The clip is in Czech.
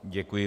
Děkuji.